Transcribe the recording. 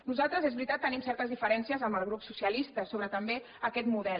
nosaltres és veritat tenim certes diferències amb el grup socialista sobre també aquest model